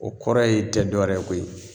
O kɔrɔ ye tɛ dɔ wɛrɛ ye koyi